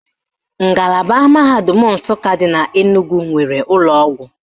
Ngalaba mahadum Nsụka dị n'Enugwu nwere ụlọọgwụ